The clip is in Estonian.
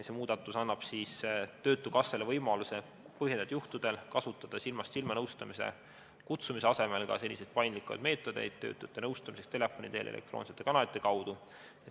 See muudatus annab töötukassale võimaluse põhjendatud juhtudel kasutada silmast silma nõustamisele kutsumise asemel paindlikumaid meetodeid töötute nõustamiseks, telefoni teel ja elektroonsete kanalite kaudu.